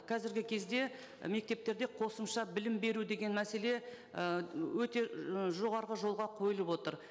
қазіргі кезде мектептерде қосымша білім беру деген мәселе ы өте жоғарғы жолға қойылып отыр